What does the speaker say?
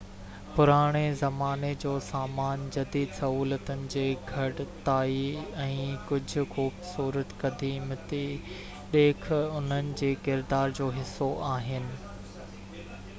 پراڻي زماني جو سامان جديد سهولتن جي گهٽتائي ۽ ڪجہہ خوبصورت قديقمي ڏيک انهن جي ڪردار جو حصو آهن